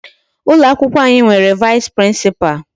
Ụlọ akwụkwọ anyị nwere Vice Principal.